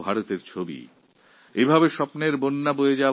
যুবভারতের একটি প্রতিচ্ছবিও এখানে ফুটে উঠবে